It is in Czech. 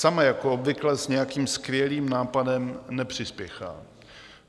Sama jako obvykle s nějakým skvělým nápadem nepřispěchá.